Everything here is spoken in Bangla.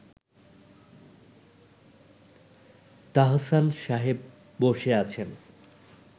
তাহসান সাহেব বসে আছেন